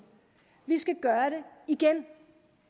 vi skal gøre det igen